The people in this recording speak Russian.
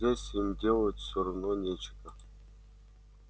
здесь им делать всё равно нечего